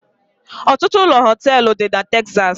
Ọtụtụ ụlọ họteelu dị na Texas